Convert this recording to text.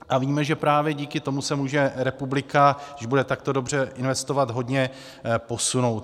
A víme, že právě díky tomu se může republika, když bude takto dobře investovat, hodně posunout.